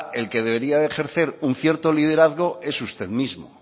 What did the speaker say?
el que debería de ejercer un cierto liderazgo es usted mismo